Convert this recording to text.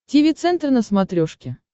тиви центр на смотрешке